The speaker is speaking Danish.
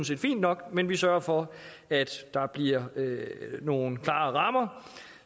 set fint nok men vi sørger for at der bliver nogle klare rammer